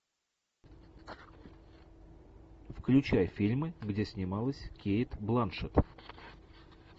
включай фильмы где снималась кейт бланшет